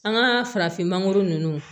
An ka farafinmanguru nunnu